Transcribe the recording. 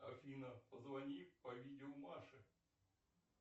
афина позвони по видео маше